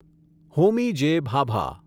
Homi J. Bhabha